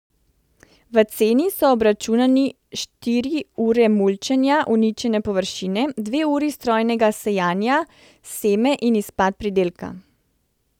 V ceni so obračunani štiri ure mulčenja uničene površine, dve uri strojnega sejanja, seme in izpad pridelka.